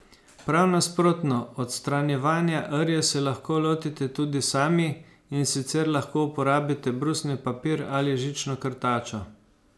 Prav nasprotno, odstranjevanja rje se lahko lotite tudi sami, in sicer lahko uporabite brusni papir ali žično krtačo.